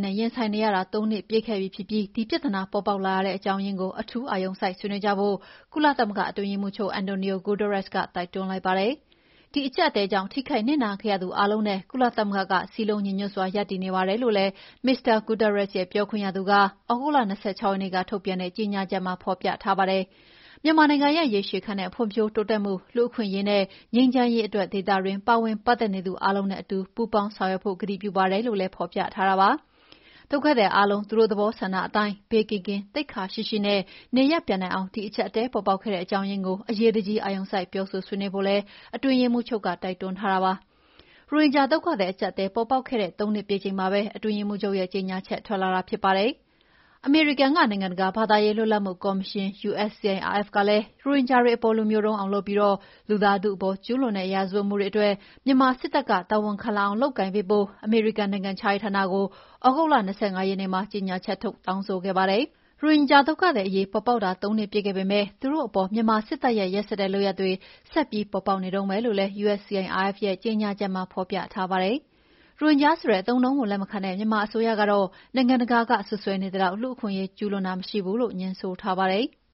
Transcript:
နဲ့ ရင်ဆိုင်နေရတာ ၃ နှစ်ပြည့်ခဲ့ပြီဖြစ်ပြီး ဒီပြဿနာပေါ်ပေါက်လာရတဲ့ အကြောင်းရင်းကို အထူးအာရုံစိုက်ဆွေးနွေးကြဖို့ ကုလသမဂ္ဂအတွင်းရေးမှူးချုပ် Antonio Guterres က တိုက်တွန်းလိုက်ပါတယ်။ ဒီအကြပ်အတည်းကြောင့် ထိခိုက်နစ်နာခဲ့ရသူအားလုံးနဲ့ ကုလသမဂ္ဂက စည်းလုံးညီညွှတ်စွာ ရပ်တည်နေပါတယ်လို့လည်း Mr Guterres ရဲ့ ပြောခွင့်ရသူက သြဂုတ်လ ၂၆ ရက်နေ့က ထုတ်ပြန်တဲ့ကြေငြာချက်မှာ ဖော်ပြထားပါတယ်။ မြန်မာနိုင်ငံရဲ့ ရေရှည်ခံတဲ့ဖွံ့ဖြိုးတိုးတက်မှု၊ လူ့အခွင့်အရေးနဲ့ ငြိမ်းချမ်းရေးအတွက် ဒေသတွင်း ပါဝင်ပတ်သက်နေသူအားလုံးနဲ့ အတူပူေးပါင်းဆောင်ရွက်ဖို့ ကတိပြုပါတယ်လို့လည်းဖော်ပြထားတာပါ။ ဒုက္ခသည်အားလုံး သူတို့သဘောဆန္ဒအတိုင်း ဘေးကင်းကင်း၊ သိက္ခာရှိရှိနဲ့ နေရပ်ပြန်နိုင်အောင် ဒီအကြပ်အတည်းပေါ်ပေါက်ခဲ့တဲ့ အကြောင်းရင်းကို အရေးတကြီး အာရုံစိုက်ပြောဆိုဆွေးနွေးကြဖို့လည်း အတွင်းရေးမှုးချုပ်က တိုက်တွန်းထားတာပါ။ ရိုဟင်ဂျာဒုက္ခသည်အကြပ်အတည်း aပါ်ပေါက်ခဲ့တာ ၃နှစ်ပြည့်ချိန်မှာပဲ အတွင်းရေးမှူးချုပ်ရဲ့ကြေငြာချက်ထွက်လာတာလည်းဖြစ်ပါတယ်။ အမေရိကန်၊ နိုင်ငံတကာ ဘာသာရေးလွတ်လပ်မှုကော်မရှင် (USCIRF) ကလည်း ရိုဟင်ဂျာတွေအပေါ် လူမျိုးတုံးအောင်လုပ်ပြီး လူသားထုအပေါ် ကျူးလွန်တဲ့ ရာဇဝတ်မှုတွေအတွက် မြန်မာစစ်တပ်က တာဝန်ခံလာအောင် လုပ်ကိုင်ပေးဖို့ အမေရိကန်နိုင်ငံခြားရေးဌာနကို သြဂုတ်လ ၂၅ ရက်နေ့မှာ ကြေငြာချက်ထုတ် တောင်းဆိုခဲ့ပါတယ်။ ရိုဟင်ဂျာဒုက္ခသည်အရေးပေါ်ပေါက်တာ ၃နှစ်ပြည့်ခဲ့ပေမယ့် သူတို့အပေါ် မြန်မာစစ်တပ်ရဲ့ ရက်စက်တဲ့လုပ်ရပ်တွေ ဆက်ပြီးပေါ်ပေါက်နေတုန်းပဲလို့လည်း USCIRF ရဲ့ကြေငြာချက်မှာဖော်ပြထားပါတယ်။ ရိုဟင်ဂျာဆိုတဲ့အသုံးကို လက်မခံတဲ့ မြန်မာအစိုးရကတေ့ာ နိုင်ငံတကာကစွပ်စွဲနေသလောက် လူ့အခွင့်အရေးကျူးလွန်တာမရှိဘူးလို့ ငြင်းဆိုထားပါတယ်။